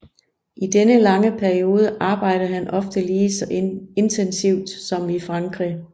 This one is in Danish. I denne lange periode arbejdede han ofte lige så intensivt som i Frankrig